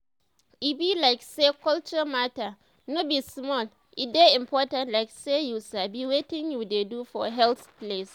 e be like say culture matter no be small e dey important like say you sabi wetin you dey do for health place.